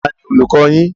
Taàní olùkọ́ yín?